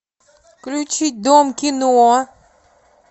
включить дом кино